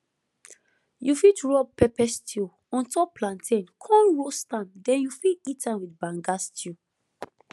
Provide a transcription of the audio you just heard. you fit rub pepper stew on top plantain con roast am den you fit eat am with banga stew